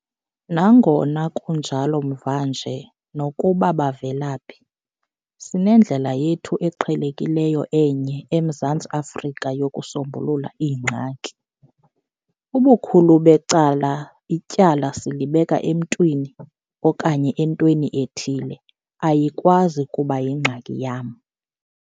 Nangona kunjalo mva nje, nokuba bavela phi, sinendlela yethu eqhelekileyo enye eMzantsi Afrika yokusombulula iingxaki. Ubukhulu becala ityala silibeka emntwini okanye entweni ethile, ayikwazi kuba yingxaki yam.